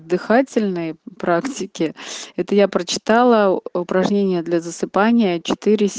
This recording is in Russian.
дыхательные практики это я прочитала упражнения для засыпания четыре сё